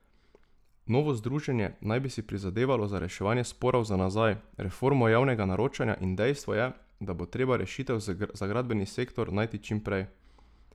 Novo združenje naj bi si prizadevalo za reševanje sporov za nazaj, reformo javnega naročanja in dejstvo je, da bo treba rešitev za gradbeni sektor najti čim prej.